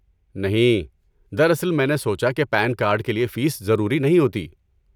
نہیں، دراصل میں نے سوچا کہ پین کارڈ کے لیے فیس ضروری نہیں ہوتی۔